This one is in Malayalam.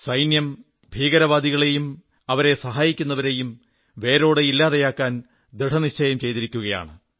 സൈന്യം ഭീകരവാദികളെയും അവരെ സഹായിക്കുന്നവരേയും വേരോടെ ഇല്ലാതെയാക്കാൻ ദൃഢനിശ്ചയം ചെയ്തിരിക്കുകയാണ്